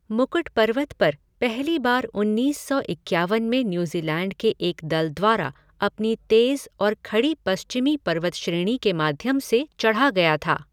मुकुट पर्वत पर पहली बार उन्नीस सौ इक्यावन में न्यूज़ीलैन्ड के एक दल द्वारा अपनी तेज़ और खड़ी पश्चिमी पर्वतश्रेणी के माध्यम से चढ़ा गया था।